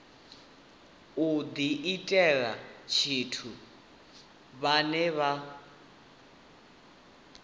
u diitela tshithu vhane vha